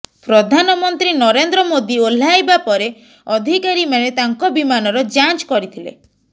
ପ୍ରଧାନମନ୍ତ୍ରୀ ନରେନ୍ଦ୍ର େମାଦୀ ଓହ୍ଲାଇବା ପରେ ଅଧିକାରୀମାନେ ତାଙ୍କ ବିମାନର ଯାଞ୍ଚ କରିଥିଲେ